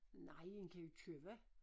Nej en kan vi købe